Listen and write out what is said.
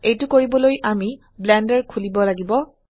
এইটো কৰিবলৈ আমি ব্লেন্ডাৰ খুলিব লাগিব